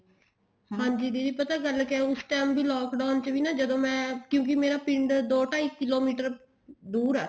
ਹਾਂਜੀ ਦੀਦੀ ਗੱਲ ਪਤਾ ਕਿਆ ਉਸ time ਵੀ lockdown ਚ ਵੀ ਜਦੋਂ ਮੈਂ ਕਿਉਂਕਿ ਮੇਰਾ ਪਿੰਡ ਦੋ ਢਾਈ ਕਿੱਲੋਮੀਟਰ ਦੁਰ ਹੈ